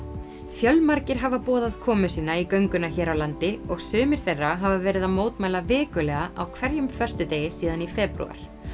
fjölmargir hafa boðað komu sína í gönguna hér á landi og sumir þeirra hafa verið að mótmæla vikulega á hverjum föstudegi síðan í febrúar